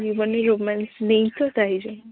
জীবনে romance নেইতো তাই এই জন্য।